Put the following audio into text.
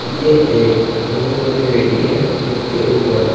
यह एक बहुत बड़ी रेडी है इसके ऊपर--